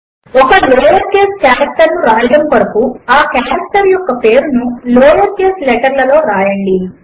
ఒక lower case character ను వ్రాయడము కొరకు ఆ కారెక్టర్ యొక్క పేరును లోయర్ కేస్ లెటర్లలో వ్రాయండి